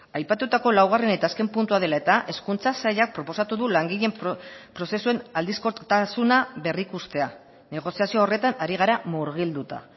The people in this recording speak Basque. aipatutako laugarren eta azken puntua dela eta hezkuntza sailak proposatu du langileen prozesuen aldizkotasuna berrikustea negoziazio horretan ari gara murgilduta